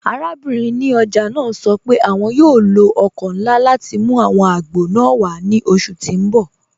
Àràbìnrin ní ọjà naa sọ pé àwọn yóò lọ ọkọ̀ nlá láti mú àwọn àgbọ̀ naa wà ni oṣù tí n bọ̀.